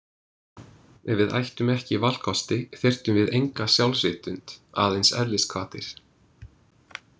Ef við ættum ekki valkosti þyrftum við enga sjálfsvitund, aðeins eðlishvatir.